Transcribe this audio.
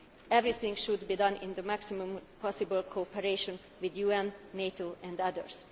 purpose. Everything should be done in the closest possible cooperation with the UN, NATO and